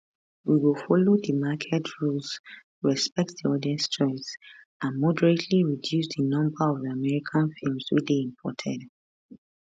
we go follow di market rules respect di audience choice and moderately reduce di number of american films wey dey imported